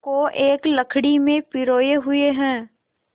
को एक लड़ी में पिरोए हुए हैं